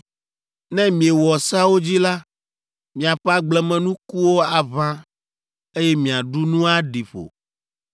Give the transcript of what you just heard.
Ne miewɔ seawo dzi la, miaƒe agblemenukuwo aʋã, eye miaɖu nu aɖi ƒo.